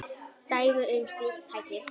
Dæmi um slík tæki